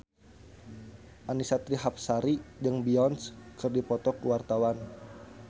Annisa Trihapsari jeung Beyonce keur dipoto ku wartawan